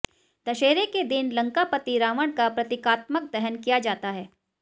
दशहरे के दिन लंकापति रावण का प्रतिकात्मक दहन किया जाता है